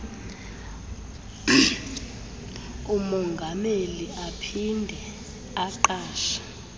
umongameli aphinde aqashe